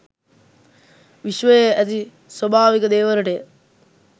විශ්වයේ ඇති ස්වාභාවික දේවලටය.